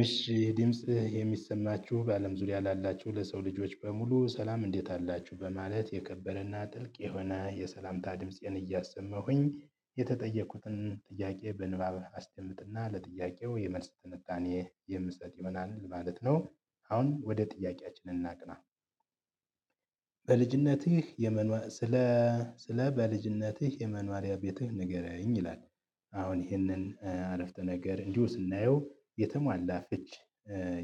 እሺ ይሄ ድምጽ የሚሰማችሁ በአለም ዙሪያ ላላችሁ ለሰው ልጆች በሙሉ ሰላም እንዴት አላችሁ በማለት የከበረና ጥልቅ የሆነ የሰላምታ ድምፄን እያሰመሁኝ የተጠየቁትን ጥያቄ በንባብ አስደምጥና ለጥያቄው የመልስ ትንታኔ የምሰጥ ይሆንናል ማለት ነው። አሁን ወደ ጥያቄያችን እናቅና። በልጅነትህ የመኗሪያ ስለ ስለ በልጅነትህ የመኖሪያ ቤትህ ንገረኝ ይላል። አሁን ይህንን አረፍተ ነገር እንዲሁ ስናየው የተሟላ ፍች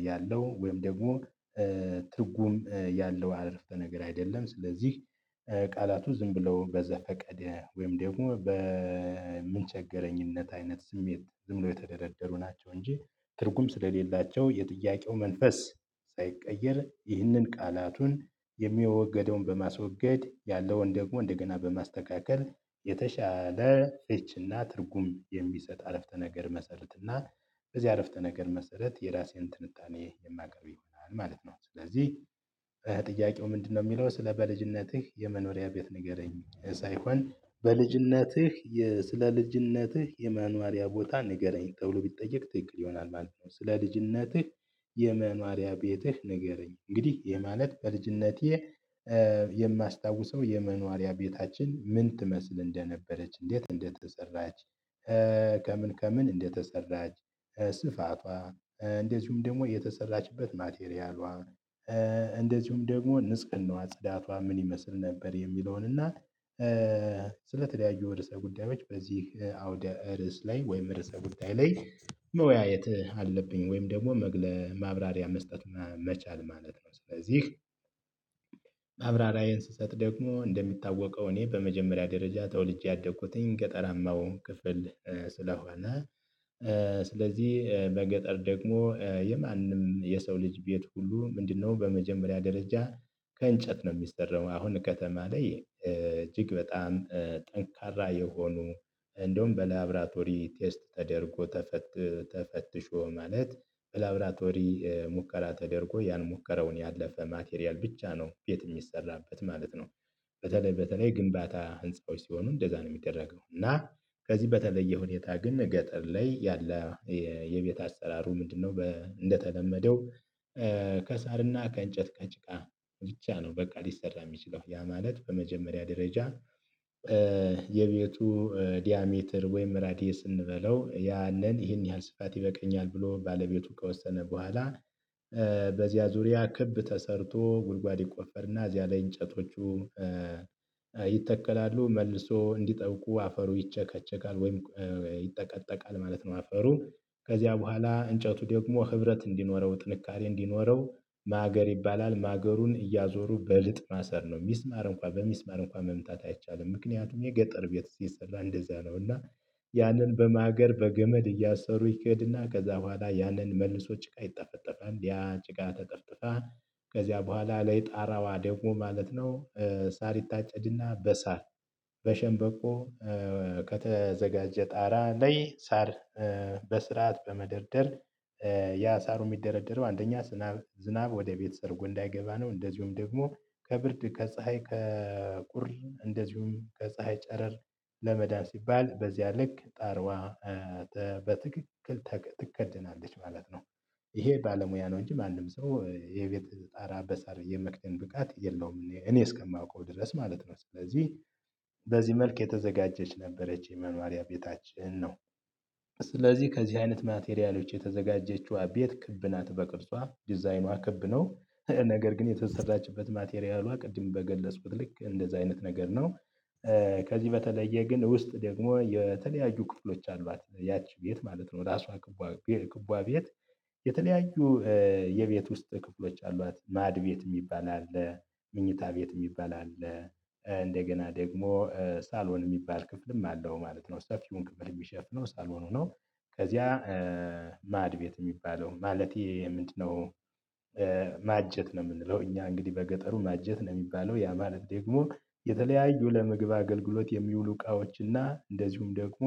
ያለው ወይም ደግሞ ትርጉም ያለው አረፍተ ነገር አይደለም። ስለዚህ ቃላቱ ዝም ብሎ በዘፈቀደ ወይም ደግሞ በምንቸገረኝነት አይነት ስሜት ዝም ብሎ የተደረደሩ ናቸው። እንጂ ትርጉም ስለሌላቸው የጥያቄው መንፈስ ሳይቀየር ይህንን ቃላቱን የሚወገደውን በማስወገድ ያለውን ደግሞ እንደገና በማስተካከል የተሻለ ፍችና ትርጉም የሚሰጥ አረፍተ ነገር መሰረትና በዚህ አረፍተ ነገር መሰረት የራሴን ትንታኔ የማቀርብ ይሆናል ማለት ነው። ስለዚህ። ጥያቄው ምንድነው የሚለው ስለ በልጅነትህ የመኖሪያ ቤት ንገረኝ ሳይሆን በልጅነትህ ስለ ልጅነትህ የመኖሪያ ቦታ ንገረኝ ተብሎ ቢጠየቅ ትክክል ይሆናል። ማለት ነው። ስለ ልጅነትህ የመኖሪያ ቤትህ ንገረኝ እንግዲህ ይህ ማለት በልጅነቴ የማስታውሰው የመኖሪያ ቤታችን ምን ትመስል እንደነበረች እንዴት እንደተሰራች። ከምን ከምን እንደተሰራች ስፋቷ እንደዚሁም ደግሞ የተሰራችበት ማቴሪያሏ እንደዚሁም ደግሞ ንጽህናዋ ጽዳቷ ምን ይመስል ነበር። የሚለውን እና ስለተለያዩ ርዕሰ ጉዳዮች በዚህ አውደ ርዕስ ላይ ወይም ርዕሰ ጉዳይ ላይ መወያየት አለብኝ ወይም ደግሞ መግለ ማብራሪያ መስጠት እና መቻል ማለት ነው። ስለዚህ ማብራሪያየን ስሰጥ ደግሞ እንደሚታወቀው እኔ በመጀመሪያ ደረጃ ተወልጄ ያደኩትኝ ገጠራማው ክፍል ስለሆነ። ስለዚህ በገጠር ደግሞ የማንም የሰው ልጅ ቤት ሁሉ ምንድነው በመጀመሪያ ደረጃ ከእንጨት ነው የሚሰረው አሁን ከተማ ላይ እጅግ በጣም ጠንካራ የሆኑ እንደውም በላብራቶሪ ቴስት ተደርጎ ተፈትሾ ማለት በላብራቶሪ ሙከራ ተደርጎ ያን ሙከራውን ያለፈ ማቴሪያል ብቻ ነው ቤት የሚሰራበት ማለት ነው። በተለይ በተለይ ግንባታ ህንፃዎች ሲሆኑ እንደዛ ነው የሚደረገው። እና ከዚህ በተለየ ሁኔታ ግን ገጠር ላይ ያለ የቤት አሰራሩ ምንድነው እንደተለመደው ከሳርና ከእንጨት ከጭቃ ብቻ ነው በቃ ሊሰራ የሚችለው። ያ ማለት በመጀመሪያ ደረጃ። የቤቱ ዲያሜትር ወይም ራዲየስ እንበለው ያንን ይህን ያህል ስፋት ይበቃኛል ብሎ ባለቤቱ ከወሰነ በኋላ በዚያ ዙሪያ ክብ ተሰርቶ ጉድጓድ ይቆፈርና እዚያ ላይ እንጨቶቹ ይተከላሉ መልሶ እንዲጠብቁ አፈሩ ይጨከጨካል ወይም ይጠቀጠቃል ማለት ነው። አፈሩ ከዚያ በኋላ እንጨቱ ደግሞ ህብረት እንዲኖረው ጥንካሬ እንዲኖረው ማገር ይባላል ማገሩን እያዞሩ በልጥ ማሰር ነው የሚስማር እንኳን በሚስማር እንኳን መምጣት አይቻልም። ምክንያቱም የገጠር ቤት ሲሰራ እንደዛ ነው። እና ያንን በማገር በገመድ እያሰሩ ይኬድና ከዛ በኋላ ያንን መልሶ ጭቃ ይጠፈጠፋል ያ ጭቃ ተጠፍጥፋ ከዚያ በኋላ ለይ ጣራዋ ደግሞ ማለት ነው። ሳር ይታጨድና በሳር በሸንበቆ ከተዘጋጀ ጣራ ላይ ሳር በስርዓት በመደርደር ያ ሳሩ የሚደረደረው አንደኛ ዝናብ ወደ ቤት ሰርጎ እንዳይገባ ነው። እንደዚሁም ደግሞ ከብርድ ከፀሀይ ከቁር እንደዚሁም ከፀሀይ ጨረር ለመዳን ሲባል በዚያ ልክ ጣርዋ በትክክል ትከደናለች ማለት ነው። ይሄ ባለሙያ ነው እንጂ ማንም ሰው የቤት ጣራ በሳር የመክደን ብቃት የለውም። እኔ እስከማውቀው ድረስ ማለት ነው። ስለዚህ በዚህ መልክ የተዘጋጀች ነበረች የመኖሪያ ቤታችን ነው። ስለዚህ ከዚህ አይነት ማቴሪያሎች የተዘጋጀችዋ ቤት ክብ ናት። በቅርጿ ዲዛይኗ ክብ ነው። ነገር ግን የተሰራችበት ማቴሪያሏ ቅድም በገለጽኩት ልክ እንደዛ አይነት ነገር ነው። ከዚህ በተለየ ግን ውስጥ ደግሞ የተለያየ ክፍሎች አሏት። ያቺ ቤት ማለት ነው። ራሷ ክቧ ቤት የተለያዩ የቤት ውስጥ ክፍሎች አሏት። ማድ ቤት የሚባል አለ። ምኝታ ቤት የሚባል አለ። እንደገና ደግሞ ሳሎን የሚባል ክፍልም አለው ማለት ነው። ሰፊውን ክፍል የሚሸፍነው ሳሎን ነው። ከዚያ ማድ ቤት የሚባለው ማለት ይሄ ምንድነው? ማጀት ነው። የምንለው እኛ እንግዲህ በገጠሩ ማጀት ነው የሚባለው። ያ ማለት ደግሞ የተለያዩ ለመግብ አገልግሎት የሚውሉ እቃዎችና እንደዚሁም ደግሞ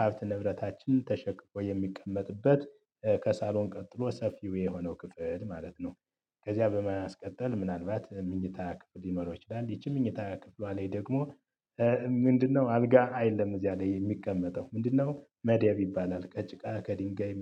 ሀብት ንብረታችን ተሸክፎ የሚቀመጥበት ከሳሎን ቀጥሎ ሰፊው የሆነው ክፍል ማለት ነው። ከዚያ በማስቀጠል ምናልባት ምኝታ ክፍል ሎኖረው ይችላል። ይህቺ ምኝታ ክፍሏ ላይ ደግሞ ምንድነው አልጋ አይደለም እዚያ ላይ የሚቀመጠው ምንድነው መደብ ይባላል ከጭቃ ከድንጋይ